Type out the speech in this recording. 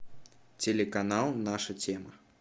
телеканал наша тема